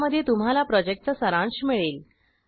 ज्यामध्ये तुम्हाला प्रॉजेक्टचा सारांश मिळेल